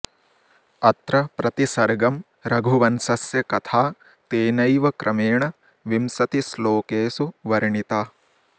अत्र प्रतिसर्गं रघुवंशस्य कथा तेनैव क्रमेण विंशतिश्लोकेषु वर्णिता